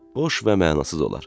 Boş və mənasız olar.